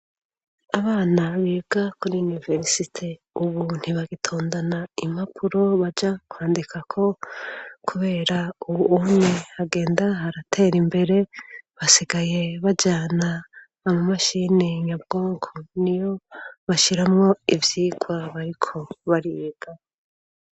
Abana bibwa kuri yuniversite, ubu ntibagitondana impapuro baja kwandikako, kubera uwu ume hagenda haratera imbere basigaye bajana ama mashiynenyabwoko ni yo bashiramwo ivyirwaba, ariko bariga.